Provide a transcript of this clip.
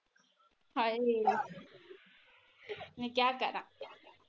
ਹਾਏ ਮੈ ਕਿਆ ਕਰਾ।